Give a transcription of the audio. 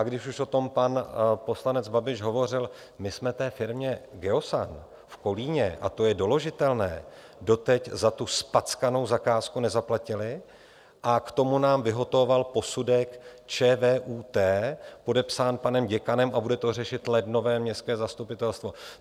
A když už o tom pan poslanec Babiš hovořil, my jsme té firmě Geosan v Kolíně, a to je doložitelné, doteď za tu zpackanou zakázku nezaplatili a k tomu nám vyhotovovalo posudek ČVUT, podepsán panem děkanem, a bude to řešit lednové městské zastupitelstvo.